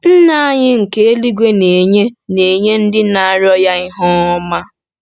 Nna anyị nke eluigwe na-enye na-enye “ndị na-arịọ ya ihe ọma.”